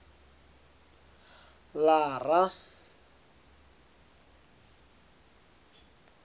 lara